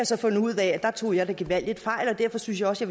så fundet ud af at jeg tog gevaldigt fejl og derfor synes jeg også